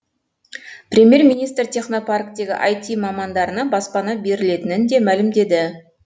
премьер министр технопарктегі айти мамандарына баспана берілетінін де мәлімдеді